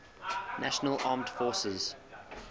national armed forces